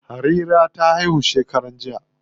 Harira ta haihu shekaran jiya.